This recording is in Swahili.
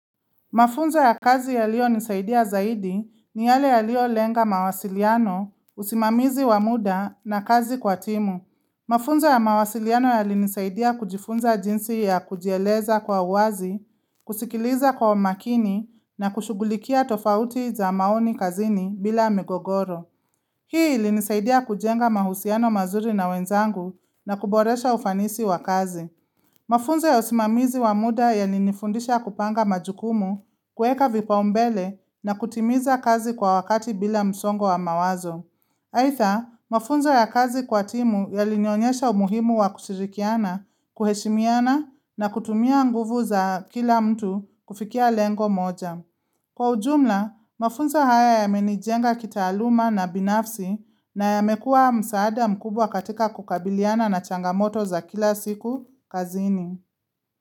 Mafunzo ya kazi yaliyonisaidia zaidi ni yale yaliyolenga mawasiliano, usimamizi wa muda na kazi kwa timu. Mafunzo ya mawasiliano yalinisaidia kujifunza jinsi ya kujieleza kwa uwazi, kusikiliza kwa makini na kushugulikia tofauti za maoni kazini bila migogoro. Hii ilinisaidia kujenga mahusiano mazuri na wenzangu na kuboresha ufanisi wa kazi. Mafunzo ya usimamizi wa muda yalinifundisha kupanga majukumu kueka vipaumbele na kutimiza kazi kwa wakati bila msongo wa mawazo. Aitha, mafunzo ya kazi kwa timu yalinionyesha umuhimu wa kushirikiana, kuheshimiana na kutumia nguvu za kila mtu kufikia lengo moja. Kwa ujumla, mafunzo haya yamenijenga kitaaluma na binafsi na yamekuwa msaada mkubwa katika kukabiliana na changamoto za kila siku kazini.